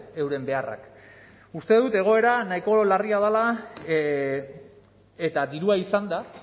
euren beharrak uste dut egoera nahiko larria dela eta dirua izanda